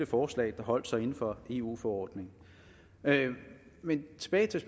forslag der holdt sig inden for eu forordningen men tilbage til